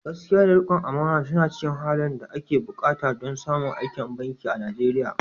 Gaskiya da rikon amana suna cikin halayen da ake buƙata don samun aikin banki a Najeriya."